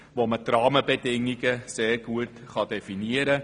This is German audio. Man kann die Rahmenbedingungen sehr gut definieren.